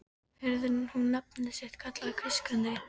Heyrði hún nafnið sitt kallað hvískrandi